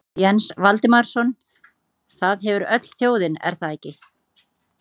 Jens Valdimarsson: Það hefur öll þjóðin, er það ekki?